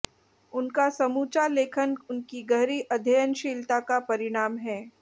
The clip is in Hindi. उनका समूचा लेखन उनकी गहरी अध्ययनशीलता का परिणाम है